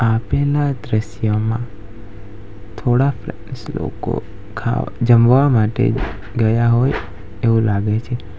આપેલા દ્રશ્યમાં થોડાક લોકો ખા જમવા માટે ગયા હોય એવું લાગે છે.